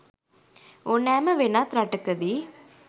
ඕනෑම වෙනත් රටක දී